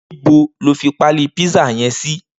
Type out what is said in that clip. Nibó ló fi pàlí pizza yèn si?